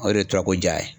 O de ye tora ko ja ye